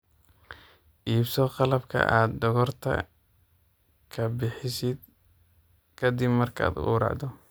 Iibso qalabka aad dhogorta ka bixisid ka dib markaad gowracdo.